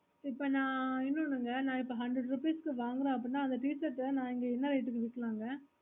இப்போ ந இன்னுமொன்னுக ந இப்போ hundred rupees வாங்குற அப்புடின்னா அந்த t shirt ஆஹ் என்ன இதுக்கு விக்கலங்க